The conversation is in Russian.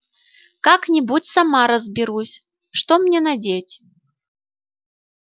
как-нибудь сама разберусь что мне надеть